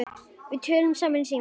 Við töluðum saman í síma.